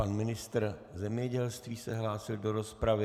Pan ministr zemědělství se hlásil do rozpravy.